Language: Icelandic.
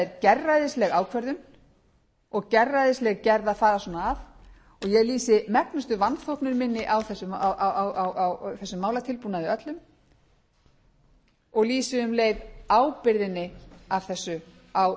er gerræðisleg ákvörðun og gerræðisleg gerð að fara svona að og ég lýsi megnuðu vanþóknun minni á þessum málatilbúnaði öllum og lýsi um leið ábyrgðinni af þessu á